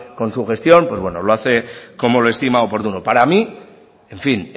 con su gestión lo hace como lo estima oportuno para mí en fin